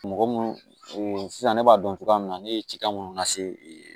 Mɔgɔ munnu sisan ne b'a dɔn cogoya min na ne ye cikan munnu lase e